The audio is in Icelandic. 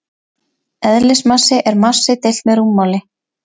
Eðlismassi er massi deilt með rúmmáli.